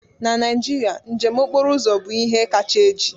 Na Naijiria, njem okporo ụzọ bụ ihe kacha eji.